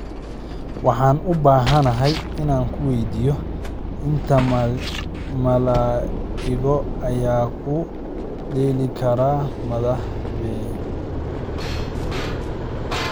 Waxaan u baahanahay inaan ku weydiiyo inta malaa'igood ayaa ku dheeli kara madaxa biin